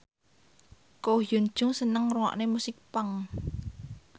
Ko Hyun Jung seneng ngrungokne musik punk